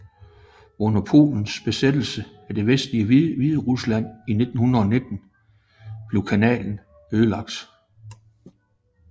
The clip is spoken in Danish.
Under polens besættelse af det vestlige Hviderusland i 1919 blev kanalen ødelagt